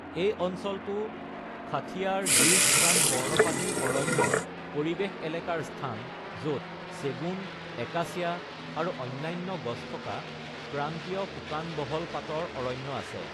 এই অঞ্চলটো খাথিয়াৰ-গিৰ শুকান পৰ্ণপাতী অৰণ্যৰ পৰিৱেশ-এলেকাৰ স্থান, য'ত চেগুন, একাচিয়া, আৰু অন্যান্য গছ থকা ক্ৰান্তীয় শুকান বহল পাতৰ অৰণ্য আছে।